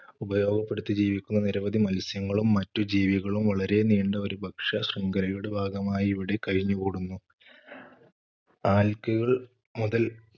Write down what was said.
ഉപയോഗപ്പെടുത്തി ജീവിക്കുന്ന നിരവധി മത്സ്യങ്ങളും മറ്റു ജീവികളും വളരെ നീണ്ട ഒരു ഭക്ഷ്യശൃഖലയുടെ ഭാഗമായി ഇവിടെ കഴിഞ്ഞുകൂടുന്നു. algae കൾ മുതല്‍